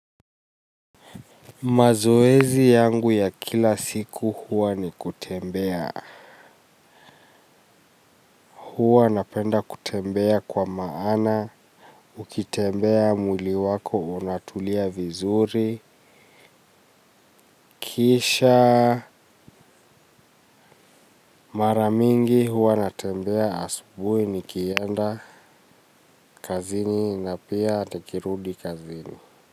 Mazoezi yangu ya kila siku huwa ni kutembea huwa napenda kutembea kwa maana ukitembea mwili wako unatulia vizuri kisha maramingi huwa natembea asubui ni kienda kazini na pia tukirudi kazini.